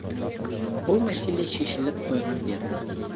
бұл мәселе шешіліп қойған деді